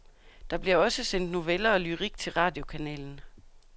Der bliver også sendt noveller og lyrik til radiokanalen.